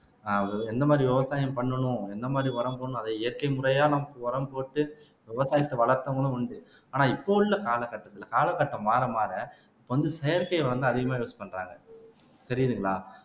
அதாவது எந்த மாதிரி விவசாயம் பண்ணணும் எந்த மாதிரி உரம் போடணும் அதை இயற்கை முறையா நமக்கு உரம் போட்டு விவசாயத்தை வளர்த்தவங்களும் உண்டு ஆனா இப்போ உள்ள கால கட்டத்துல காலகட்டம் மாற மாற இப்ப வந்து செயற்கை வந்து அதிகமா யூஸ் பண்றாங்க தெரியுதுங்களா